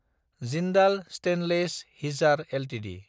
Jindal stainless (Hisar) Ltd